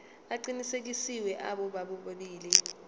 aqinisekisiwe abo bobabili